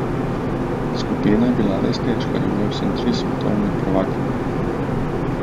Skupina je bila res težka, imela sem tri svetovne prvakinje.